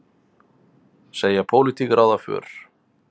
Segja pólitík ráða för